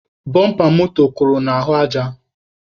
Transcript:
Bọmpa moto kụrụ n'ahụ aja.